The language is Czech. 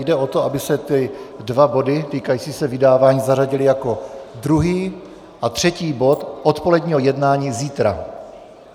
Jde o to, aby se ty dva body týkající se vydávání zařadily jako druhý a třetí bod odpoledního jednání zítra.